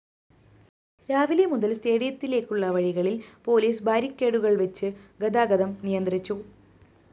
രാവിലെ മുതല്‍ സ്‌റ്റേഡിയത്തിലേക്കുള്ള വഴികളില്‍ പോലീസ് ബാരിക്കേഡുകള്‍വച്ച് ഗതാഗതം നിയന്ത്രിച്ചു